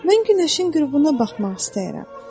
Mən günəşin qürubuna baxmaq istəyirəm.